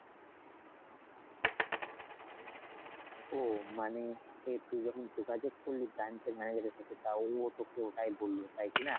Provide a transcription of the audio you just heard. ওহ মানে এই তুই যখন যোগাযোগ করলি branch এর manager এর সাথে, তা ও তোকে ওটাই বললো তাই কি না ?